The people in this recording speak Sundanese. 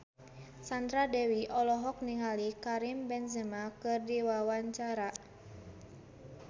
Sandra Dewi olohok ningali Karim Benzema keur diwawancara